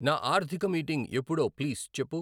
నా ఆర్థిక మీటింగ్ ఎప్పుడో ప్లీజ్ చెప్పు.